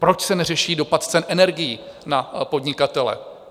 Proč se neřeší dopad cen energií na podnikatele?